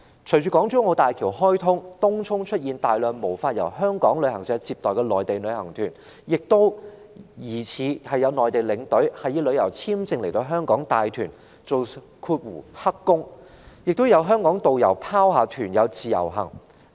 隨着港珠澳大橋開通，東涌湧現無法由香港旅行社接待的內地旅行團，也有疑似內地領隊以旅遊簽證來港帶團當"黑工"，以及香港導遊不理團友讓他們自由活動。